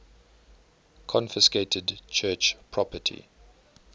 confiscated church property